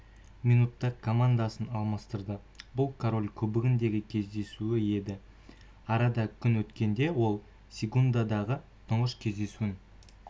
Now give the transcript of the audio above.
минутта командаласын алмастырды бұл король кубогындағы кездесу еді арада күн өткенде ол сегундадағы тұңғыш кездесуін